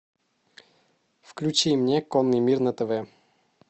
включи мне конный мир на тв